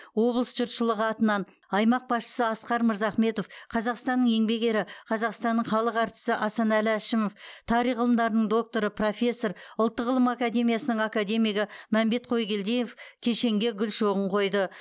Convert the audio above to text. облыс жұртшылығы атынан аймақ басшысы асқар мырзахметов қазақстанның еңбек ері қазақстанның халық әртісі асанәлі әшімов тарих ғылымдарының докторы профессор ұлттық ғылым академиясының академигі мәмбет қойгелдиев кешенге гүл шоғын қойды